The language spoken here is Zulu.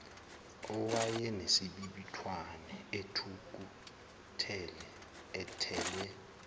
owayenesibibithwane ethukuthele ethelwe